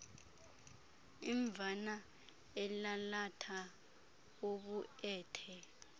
imvana elalatha ubuethe